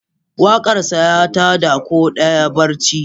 Waƙarsa, ya ta da kowa daga barci.